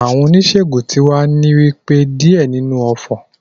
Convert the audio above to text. The herbalist is saying some incantations